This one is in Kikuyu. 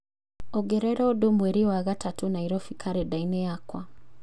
ongerera ũndũ mweri wa gatatũ Nairobi karenda-inĩ yakwa